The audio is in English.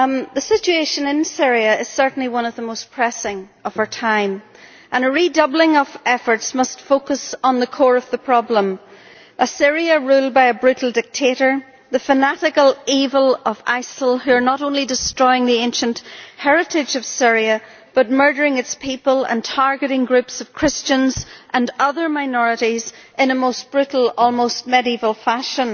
The situation in Syria is certainly one of the most pressing of our time, and a redoubling of efforts must focus on the core of the problem a Syria ruled by a brutal dictator, and the fanatical evil of ISIL, who are not only destroying the ancient heritage of Syria but also murdering its people and targeting groups of Christians and other minorities in a most brutal, almost medieval, fashion